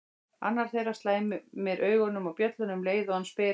Annar þeirra slæmir augunum á bjölluna um leið og hann spyr